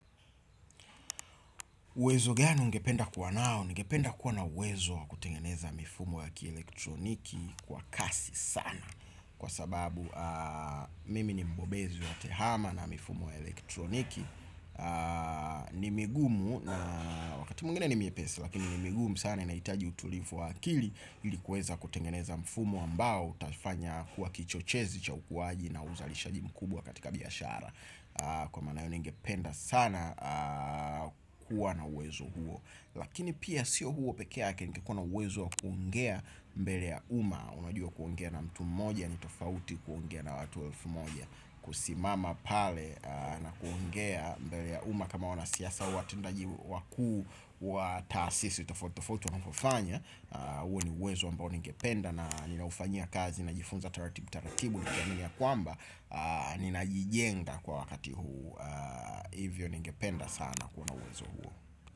Uwezo gani ungependa kuwa nao, ningependa kuwa na uwezo kutengeneza mifumo ya kielektroniki kwa kasi sana. Kwa sababu mimi ni mbobezi wa tehama na mifumo ya elektroniki. Ni migumu, na wakati mwingine ni miepesi lakini ni migumu sana inaitaji utulifu wa akili. Ilikuweza kutengeneza mfumo ambao utafanya kuwa kichochezi cha ukuwaji na uzalishaji mkubwa katika biashara. Kwa manayo ningependa sana kuwa na uwezo huo. Lakini pia sio huo pekee yake ningekua na uwezo wa kuongea mbele ya uma. Unajua kuongea na mtu moja, nitofauti kuongea na watu elfu moja. Kusimama pale na kuongea mbele ya uma kama wana siasa hua tendaji wakuu wa taasisi, tofauti tofauti wanavyofanya. Uwe ni uwezo ambao ningependa na ninaufanyia kazi, ninajifunza taratibu taratibu ya kwamba ninajijenga kwa wakati huu. Hivyo ningependa sana kuwa na uwezo huo.